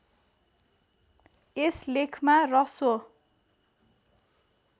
यस लेखमा ह्रस्व